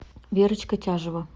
верочка тяжева